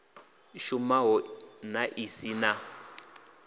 shumaho na i si na